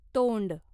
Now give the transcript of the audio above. तोंड